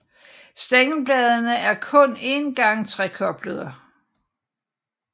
Stængelbladene er kun en gang trekoblede